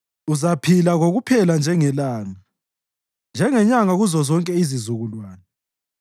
Uzaphila kokuphela njengelanga, njengenyanga kuzozonke izizukulwane.